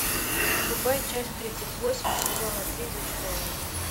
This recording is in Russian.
врубай часть тридцать восемь сезона три зачарованные